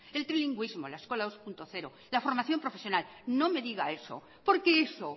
el trilingüísmo la eskola dos punto cero la formación profesional no me diga eso porque eso